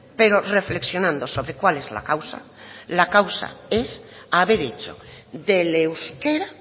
pero reflexionando sobre cuál es la causa la causa es haber hecho del euskera